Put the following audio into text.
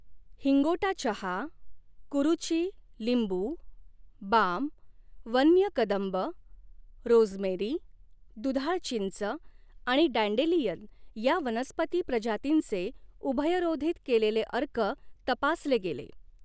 हिंगोटा चहा कुरुची लिंबू बाम वन्य कदंब रोझमेरी दुधाळ चिंच आणि डँडेलियन या वनस्पती प्रजातींचे उभयरोधित केलेले अर्क तपासले गेले.